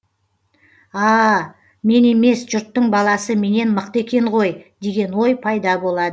аааа мен емес жұрттың баласы менен мықты екен ғой деген ой пайда болады